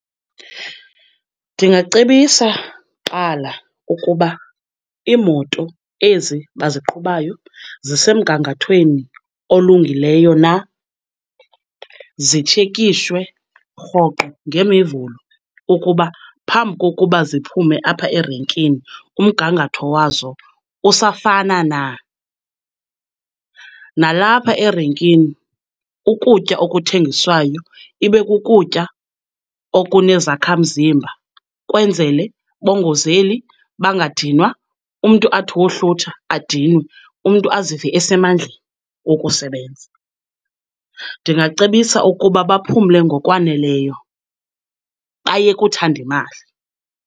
Ndingacebisa kuqala ukuba iimoto ezi baziqhubayo zisemgangathweni olunguleyo na, zitshekishwe rhoqo ngeMivulo ukuba phambi kokuba ziphume apha erenkini umgangatho wazo usafana na. Nalapha erenkini ukutya okuthengiswayo ibe kukutya okunezakha mzimba ukwenzele bangozeli, bangadinwa, umntu athi wohlutha adinwe, umntu azive esemandleni wokusebenza. Ndingacebisa ukuba baphumle ngokwaneleyo, bayeke uthanda imali.